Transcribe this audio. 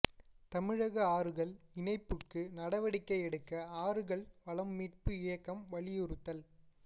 தமிழக ஆறுகள் இணைப்புக்கு நடவடிக்கை எடுக்க ஆறுகள் வளம் மீட்பு இயக்கம் வலியுறுத்தல்